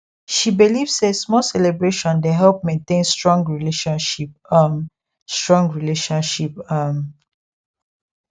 she believe say small celebration dey help maintain strong relationship um strong relationship um